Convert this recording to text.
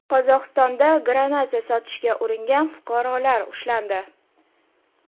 Qozog‘istonda granata sotishga uringan fuqarolar ushlandi.